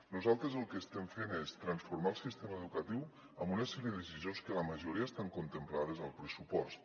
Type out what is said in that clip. nosaltres el que estem fent és transformar el sistema educatiu amb una sèrie de de·cisions que la majoria estan contemplades al pressupost